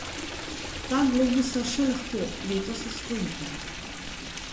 Dva globusa še lahko letos osvojite.